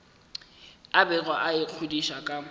a bego a ikgodiša ka